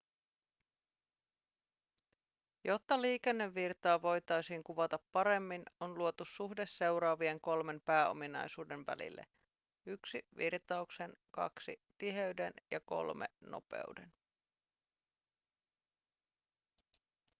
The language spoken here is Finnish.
jotta liikennevirtaa voitaisiin kuvata paremmin on luotu suhde seuraavien kolmen pääominaisuuden välille: 1 virtauksen 2 tiheyden ja 3 nopeuden